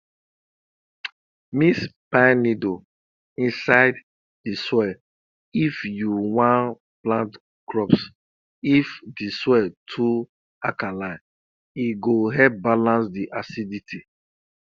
mix pine needle inside di soil if you wan plant crops if di soil too alkaline e go help balance di acidity